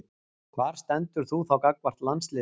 Hvar stendur þú þá gagnvart landsliðinu?